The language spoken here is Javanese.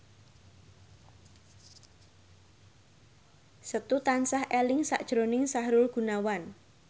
Setu tansah eling sakjroning Sahrul Gunawan